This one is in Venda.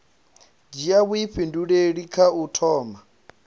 dzhia vhuifhinduleli kha u thoma